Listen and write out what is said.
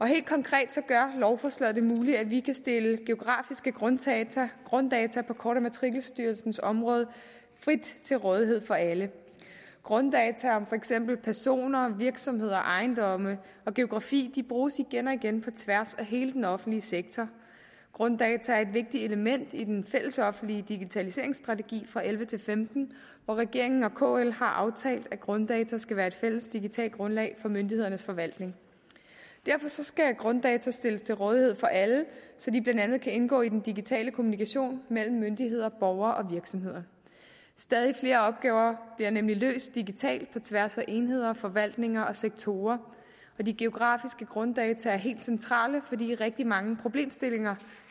helt konkret gør lovforslaget det muligt at vi kan stille geografiske grunddata grunddata på kort og matrikelstyrelsens område frit til rådighed for alle grunddata om for eksempel personer virksomheder ejendomme og geografi bruges igen og igen på tværs af hele den offentlige sektor grunddata er et vigtigt element i den fællesoffentlige digitaliseringsstrategi og elleve til femten hvor regeringen og kl har aftalt at grunddata skal være fælles digitalt grundlag for myndighedernes forvaltning derfor skal grunddata stilles til rådighed for alle så de blandt andet kan indgå i den digitale kommunikation mellem myndigheder borgere og virksomheder stadig flere opgaver bliver nemlig løst digitalt på tværs af enheder forvaltninger og sektorer og de geografiske grunddata er helt centrale fordi rigtig mange problemstillinger